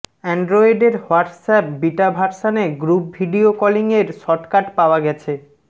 অ্যান্ড্রয়েডের WhatsApp beta ভার্সানে group video কলিংয়ের shortcut পাওয়া গেছে